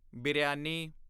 biryani